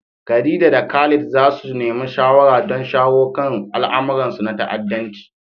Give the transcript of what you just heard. Khadija da Khalid za su nemi shawara don shawo kan al'amuransu na ta'addanci.